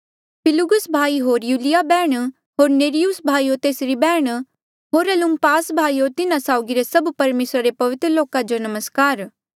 फिलुलुगुस भाई होर युलिया बैहण होर नेर्युस भाई होर तेसरी बैहण होर उलुम्पास भाई होर तिन्हा साउगी रे सभ परमेसरा रे पवित्र लोका जो मेरा नमस्कार